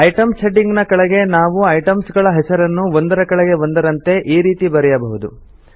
items heading ಕೆಳಗಡೆ ನಾವು items ಗಳ ಹೆಸರನ್ನು ಒಂದರ ಕೆಳಗೆ ಒಂದರಂತೆ ಈ ರೀತಿ ಬರೆಯಬಹುದು